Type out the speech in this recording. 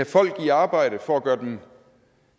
folk i arbejde for at gøre dem